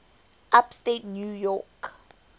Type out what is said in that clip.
upstate new york